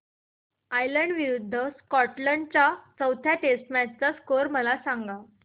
Ireland विरूद्ध Scotland च्या चौथ्या टेस्ट मॅच चा स्कोर मला सांगना